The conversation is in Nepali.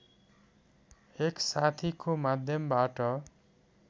एक साथीको माध्यमबाट